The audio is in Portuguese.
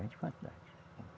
Grande vantagem.